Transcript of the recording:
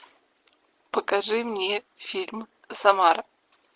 покажи мне фильм самара